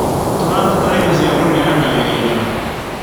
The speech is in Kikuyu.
Tũrabatara indo cia kũneana wĩra.